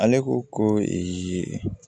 Ale ko ko